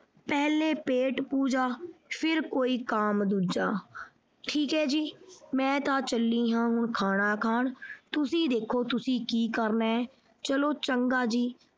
ਪਹਿਲੇ ਪੇਟ ਪੂਜਾ ਫਿਰ ਕੋਈ ਕੰਮ ਦੂਜਾ ਠੀਕ ਹੈ ਜੀ ਮੈਂ ਤਾਂ ਚੱਲੀਂ ਆਂ ਹੁਣ ਖਾਣਾ ਖਾਣ ਤੁਸੀਂ ਦੇਹੋ ਤੁਸੀਂ ਕੀ ਕਰਨਾ ਹੈ ਚਲੋ ਚੰਗਾ ਜੀ।